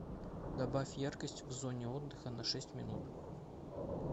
добавь яркость в зоне отдыха на шесть минут